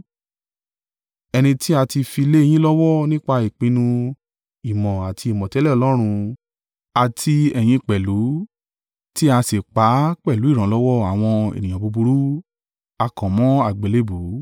Ẹni tí a ti fi lé yín lọ́wọ́ nípa ìpinnu ìmọ̀ àti ìmọ̀tẹ́lẹ̀ Ọlọ́run; àti ẹ̀yin pẹ̀lú, tí a sì pa á pẹ̀lú ìrànlọ́wọ́ àwọn ènìyàn búburú, a kàn mọ́ àgbélébùú.